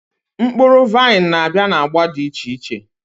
Mkpuru vain nabia na agba di iche iche